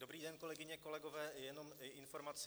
Dobrý den, kolegyně, kolegové, jenom informaci.